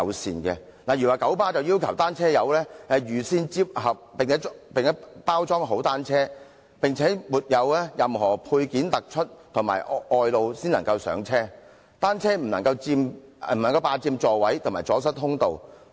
例如九龍巴士有限公司要求"單車友"預先摺合及包裝好單車，並確保沒有任何配件凸出或外露才能上車，而單車不能霸佔座位及阻塞通道。